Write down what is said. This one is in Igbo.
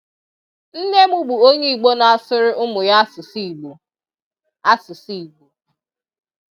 Nne m bụ onye Igbo na-asụrụ ụmụ ya asụsụ Igbo. asụsụ Igbo.